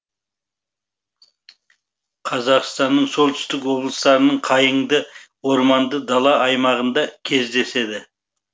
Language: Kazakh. қазақстанның солтүстік облыстарының қайыңды орманды дала аймағында кездеседі